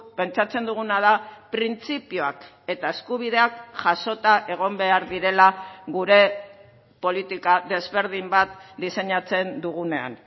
pentsatzen duguna da printzipioak eta eskubideak jasota egon behar direla gure politika desberdin bat diseinatzen dugunean